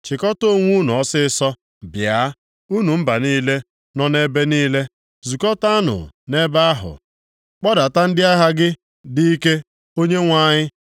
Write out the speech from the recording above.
Chịkọta onwe unu ọsịịsọ, bịa, unu mba niile, nọ nʼebe niile. Zukọtaanụ nʼebe ahụ. Kpọdata ndị agha gị dị ike Onyenwe anyị!